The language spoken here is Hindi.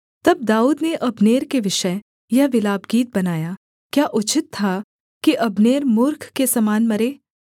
तब दाऊद ने अब्नेर के विषय यह विलापगीत बनाया क्या उचित था कि अब्नेर मूर्ख के समान मरे